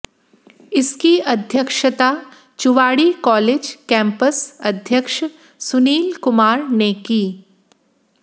इसकी अध्यक्षता Chuwadi college campus अध्यक्ष सुनील कुमार ने की